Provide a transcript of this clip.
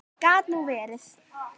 Gat nú verið.